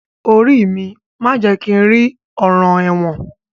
Orí mi má jẹ̀ kí n rí ọ̀ràn ẹ̀wọ̀n